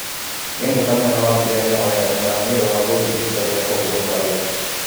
Mĩnĩthita mũnene wa Austria nĩahoete mũhera nĩũndũ wa gũthiĩ ihinda rĩa kũhurũka wĩra.